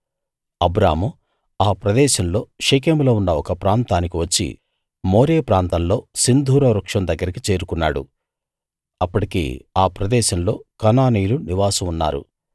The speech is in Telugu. అబ్రాము ఆ ప్రదేశంలో షెకెములో ఉన్న ఒక ప్రాంతానికి వచ్చి మోరే ప్రాంతంలో సింధూర వృక్షం దగ్గరికి చేరుకున్నాడు అప్పటికి ఆ ప్రదేశంలో కనానీయులు నివాసం ఉన్నారు